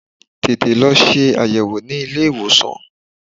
Tètè lọ ṣe àyẹ̀wò ní ilé ìwòsàn!